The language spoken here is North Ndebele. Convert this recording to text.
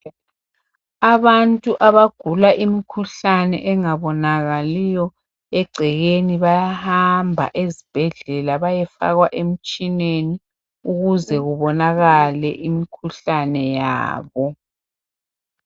Abantu abagula imikhuhlane engabonakaliyo egcekeni bayahamba ezibhedlela bayefakwa emtshineni ukuze kubonakale imkhuhlane yabo.